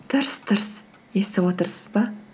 тырс тырс естіп отырсыз ба